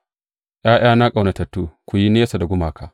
’Ya’yana ƙaunatattu, ku yi nesa da gumaka.